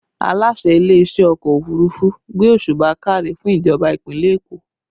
Aláṣẹ ilé iṣẹ́ ọkọ òfurufú gbé òsùbà káre fún ìjọba ìpínlẹ̀ Èkó